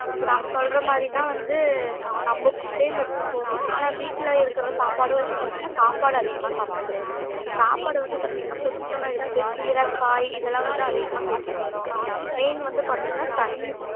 இப்போ நாம சொல்றமாறினா வந்து நம்ம food யும் எடுத்துக்கணும் ஆனா வீட்ல இருக்குற சாப்பாடும் வந்து பாத்திங்கன்னா சாப்பாடு அதிகமா சாப்டக்கூடாது சாப்பாடு வந்து பாத்திங்கன்னா கொஞ்சம்மா எடுத்துட்டு கீர காய் இதுலாம் வந்து அதிகமா சேத்துக்கனும் main வந்து பாத்திங்கன்னா தண்ணி